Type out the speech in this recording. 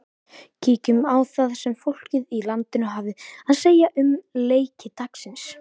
Kíkjum á það sem fólkið í landinu hafði að segja um leiki dagsins.